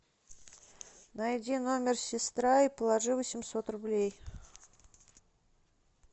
найди номер сестра и положи восемьсот рублей